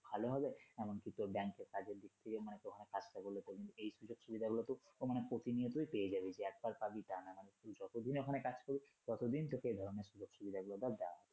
ভালো হবে এমনকি তোর ব্যাংকে কাজের দিক থেকে তখন কাজ টা করলে তোর এই সুযোগ সুবিধা গুলো তুই প্রতিনিয়তই পেয়ে যাবি, যে একবার তা না মানে যতদিন ওখানে কাজ করবি ততোদিন তোকে এধরনের সুযোগ সুবিধাগুলো দেয়া হবে।